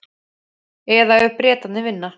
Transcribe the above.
Eða ef Bretarnir vinna?